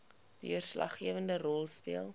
deurslaggewende rol speel